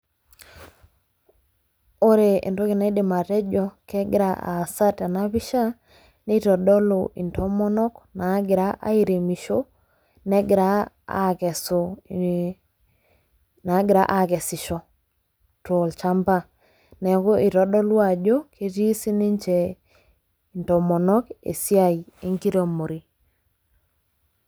Wore entoki naidim atejo kekira aasa tena pisha, nitodolu intomonok naakira airemisho, negira aakesu, naakira aakesisho tolshamba. Neeku itodolu ajo ketii sininche intomonok esiai enkiremore